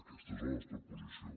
aquesta és la nostra posició